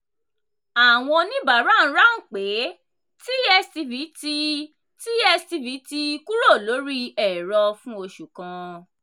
àwọn oníbàárà ń ráhùn pé tstv ti tstv ti kúrò lórí ẹ̀rọ fún oṣù kan.